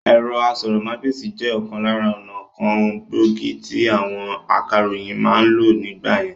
Ẹ̀rọ asọ̀rọ̀mágbèsì jẹ òkan lára ọnà kan gbòógì tí àwọn akàròyìn ma ń lò nígbà yẹn